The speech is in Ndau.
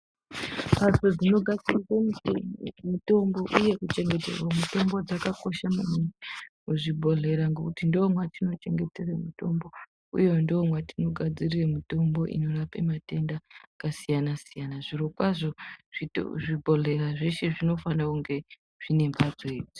Mhatso dzinogadzirwe mutongo mutombo uye kuchengeterwe mutombo dzakakosha maningi muzvibhedhlera ngekuti ndomwatino chengetere mutombo uye ndomwatino. gadzirire mutombo inorape matenda akasiyana siyana zvirokwazvo zvito zvibhedhleya zveshe zvinofano nge zvine mhatso idzi.